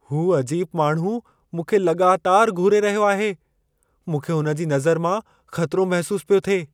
हू अजीब माण्हू मूंखे लॻातार घूरे रहियो आहे। मूंखे हुन जी नज़र मां ख़तिरो महसूसु पियो थिए।